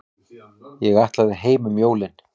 Ég ætlaði heim um jólin.